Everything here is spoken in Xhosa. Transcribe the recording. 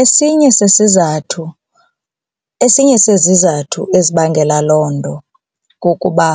Esinye sesizathu, esinye sezizathu ezibangela loo nto kukuba